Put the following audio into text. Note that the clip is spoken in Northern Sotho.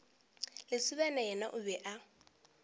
lesibana yena o be a